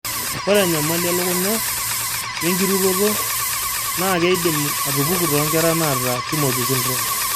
Ore enyamali elukunya o wenkirutoto naa keidim atupuku toonkera naata Timothy syndrome.